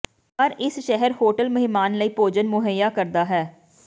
ਪਰ ਇਸ ਸ਼ਹਿਰ ਹੋਟਲ ਮਹਿਮਾਨ ਲਈ ਭੋਜਨ ਮੁਹੱਈਆ ਕਰਦਾ ਹੈ